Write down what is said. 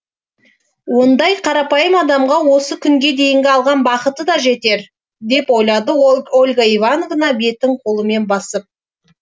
ондай қарапайым адамға осы күнге дейінгі алған бақыты да жетер деп ойлады ольга ивановна бетін қолымен басып